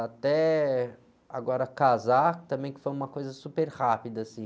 Até agora casar, também que foi uma coisa super rápida, assim...